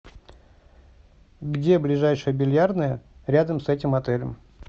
где ближайшая бильярдная рядом с этим отелем